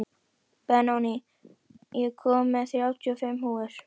Benóný, ég kom með þrjátíu og fimm húfur!